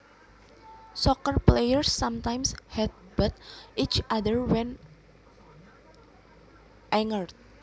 Soccer players sometimes headbutt each other when angered